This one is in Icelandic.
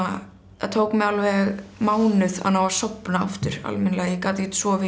það tók mig alveg mánuð að ná að sofna aftur almennilega ég gat ekkert sofið